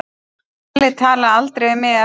Palli talaði aldrei við mig eftir þetta.